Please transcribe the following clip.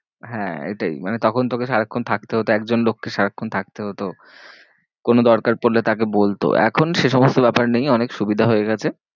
হ্যাঁ এটাই মানে তখন তোকে সারাক্ষন থাকতে হতো। একজন লোককে সারাক্ষন থাকতে হতো। কোনো দরকার পড়লে তাকে বলতো এখন সে সমস্ত ব্যাপার নেই অনেক সুবিধা হয়ে গেছে।